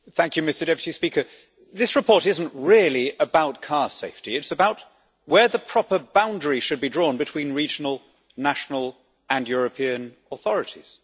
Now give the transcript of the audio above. Mr President, this report is not really about car safety. It is about where the proper boundary should be drawn between regional, national and European authorities.